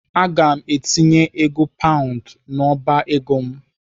Aga m etinye ego paund n'ọba ego m.